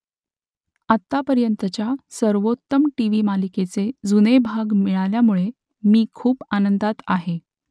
आत्तापर्यंतच्या सर्वोत्तम टीव्हीमालिकेचे जुने भाग मिळाल्यामुळे मी खूप आनंदात आहे